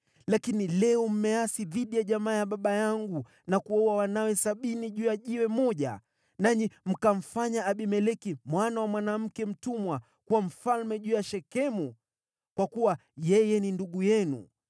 (lakini leo mmeasi dhidi ya jamaa ya baba yangu, na kuwaua wanawe sabini juu ya jiwe moja, nanyi mkamfanya Abimeleki mwana wa mwanamke mtumwa kuwa mfalme juu ya Shekemu, kwa kuwa yeye ni ndugu yenu),